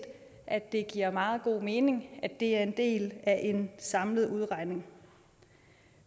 at det giver meget god mening at det er en del af en samlet udregning